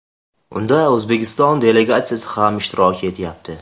Unda O‘zbekiston delegatsiyasi ham ishtirok etyapti.